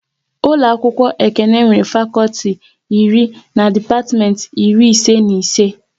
Ụlọ akwụkwọ Ekene nwere fakọlti iri na depatiment iri ise na ise